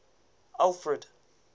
alfred